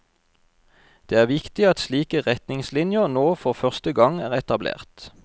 Det er viktig at slike retningslinjer nå for første gang er etablert.